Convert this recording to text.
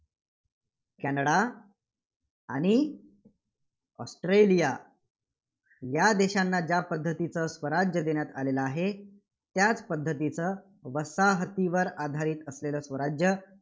Canada आणि Australia या देशांना ज्या पद्धतीचं स्वराज्य देण्यात आलेलं आहे, त्याच पद्धतीचं वसाहतींवर आधारित असलेलं स्वराज्य